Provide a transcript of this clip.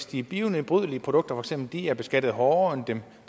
de bionedbrydelige produkter bliver beskattet hårdere end dem